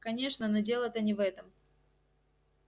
конечно но дело-то не в этом